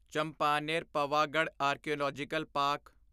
Champaner Pavagadh archaeological park